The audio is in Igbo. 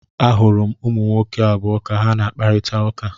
Ahụrụ m ụmụ nwoke abụọ ka ha na-akparịta ụka.